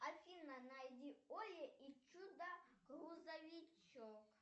афина найди оли и чудо грузовичок